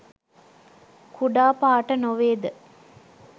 කුඩා පාඨ නොවේ ද?